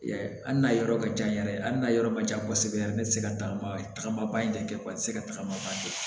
Hali n'a yɔrɔ ka jan yɛrɛ ali n'a yɔrɔ ma jan kosɛbɛ yɛrɛ ne tɛ se ka tagama tagama ba in de kɛ wa i tɛ se ka tagama ban